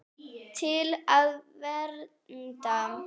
Til að vernda.